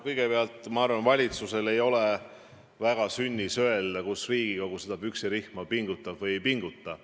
Kõigepealt ma arvan, et valitsusel ei ole väga sünnis öelda, kus Riigikogu püksirihma peaks pingutama.